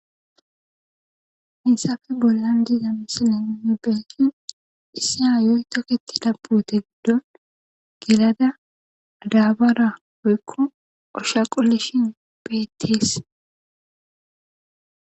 insafe bollan diiza misileninne beekin issa hayoy toketida pute giddon gelada daabara woykko osha qollishin beettees